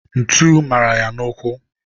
ntu mara ya n'ụkwụ